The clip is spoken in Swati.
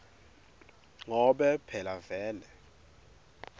ngobe phela vele